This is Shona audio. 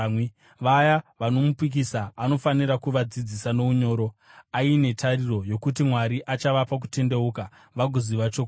Vaya vanomupikisa anofanira kuvadzidzisa nounyoro, aine tariro yokuti Mwari achavapa kutendeuka vagoziva chokwadi,